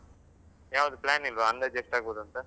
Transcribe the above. ಹಾ, ಯಾವುದು plan ಇಲ್ವಾ ಅಂದಾಜು ಎಷ್ಟಾಗ್ಬೋದು ಅಂತ?